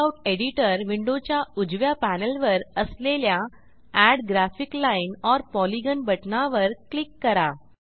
layout editor विंडोच्या उजव्या पॅनेलवर असलेल्या add graphic line or polygon बटणावर क्लिक करा